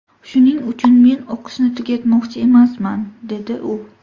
Shuning uchun men o‘qishni tugatmoqchi emasman”, dedi u.